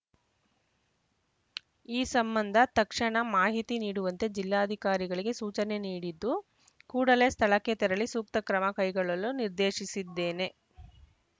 ಈ ಸಂಬಂಧ ತಕ್ಷಣ ಮಾಹಿತಿ ನೀಡುವಂತೆ ಜಿಲ್ಲಾಧಿಕಾರಿಗಳಿಗೆ ಸೂಚನೆ ನೀಡಿದ್ದು ಕೂಡಲೇ ಸ್ಥಳಕ್ಕೆ ತೆರಳಿ ಸೂಕ್ತ ಕ್ರಮ ಕೈಗೊಳ್ಳಲು ನಿರ್ದೇಶಿಸಿದ್ದೇನೆ